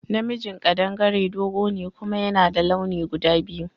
Na mijin kaɗangare dogo ne kuma yana da launi guda biyu